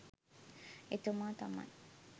එතුමා තමයි.